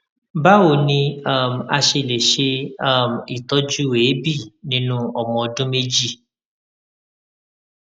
báwo ni um a ṣe lè ṣe um itọju eebi ninu ọmọ ọdún méjì